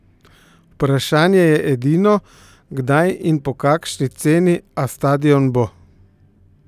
Vprašanje je edino, kdaj in po kakšni ceni, a stadion bo!